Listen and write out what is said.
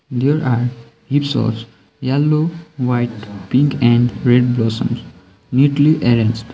there are heaps os yellow white pink and red blossoms neatly arranged.